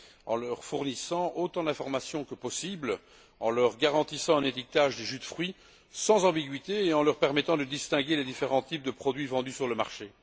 en leur fournissant autant d'informations que possible, en leur garantissant un étiquetage des jus de fruits sans ambiguïté et en leur permettant de distinguer les différents types de produits vendus sur le marché.